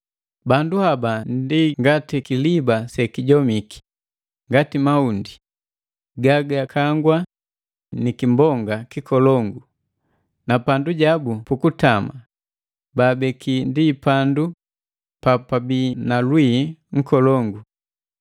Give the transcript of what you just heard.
Bandu haba ndi ngati kiliba sekijomiki, ngati mahundi gagakangwa ni kimbonga kikolongu, na pandujabu pukutama baabeki ndi pandu papabii na lwii nkolongu.